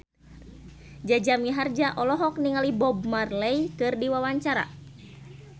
Jaja Mihardja olohok ningali Bob Marley keur diwawancara